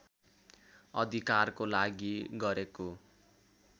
अधिकारको लागि गरेको